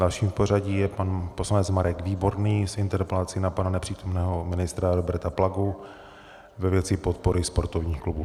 Dalším v pořadí je pan poslanec Marek Výborný s interpelací na pana nepřítomného ministra Roberta Plagu ve věci podpory sportovních klubů.